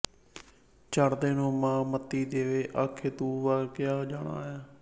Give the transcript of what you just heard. ਚੜ੍ਹਦੇ ਨੂੰ ਮਾਂ ਮੱਤੀਂ ਦੇਵੇ ਆਖੇ ਤੂੰ ਵਗਿਆ ਜਾਣਾ ਐਂ